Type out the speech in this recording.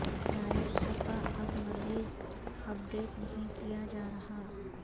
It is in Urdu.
لائیو صفحہ اب مزید اپ ڈیٹ نہیں کیا جا رہا